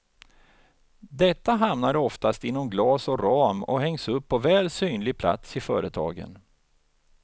Detta hamnar oftast inom glas och ram och hängs upp på väl synlig plats i företagen.